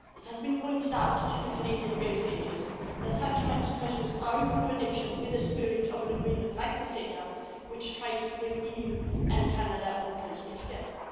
It has been pointed out to the Canadian negotiators that such measures are in contradiction with the spirit of an agreement like the CETA, which tries to bring the EU and Canada more closely together.